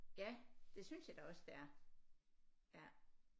Ja det synes jeg da også det er ja